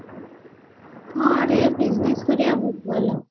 ହଁ ରେ business କରିବା ଟା ବି ଭଲ